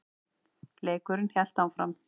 Leikurinn hélt áfram.